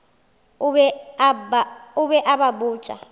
o be a ba botša